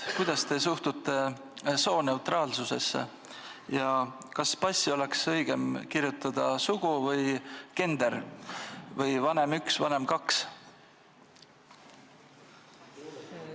Kuidas te suhtute sooneutraalsusesse ja kas passi oleks õigem kirjutada "sugu" või "gender" või "vanem 1" ja "vanem 2"?